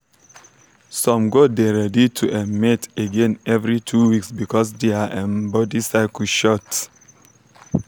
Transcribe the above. some goat dey ready to um mate again every two weeks because their um body cycle short.